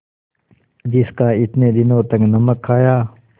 जिसका इतने दिनों तक नमक खाया